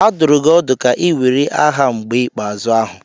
A dụrụ gị ọdụ ka ị were aha mgbe ikpeazụ ahụ.